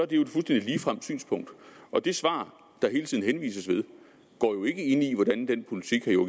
det jo et fuldstændig ligefremt synspunkt og det svar der hele tiden henvises til går jo ikke ind i hvordan den politik herre